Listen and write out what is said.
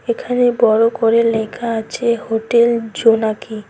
এখানে বড় করে লেখা আছে হোটেল জোনাকি।